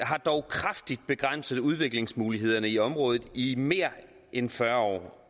har dog kraftigt begrænset udviklingsmulighederne i området i mere end fyrre år